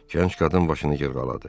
Gənc qadın başını yığaladı.